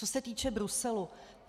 Co se týče Bruselu.